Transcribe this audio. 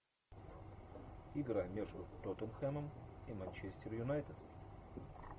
игра между тоттенхэмом и манчестер юнайтед